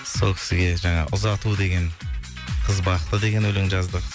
сол кісіге жаңағы ұзату деген қыз бақыты деген өлең жаздық